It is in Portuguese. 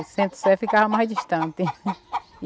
O Centro-Sé ficava mais distante.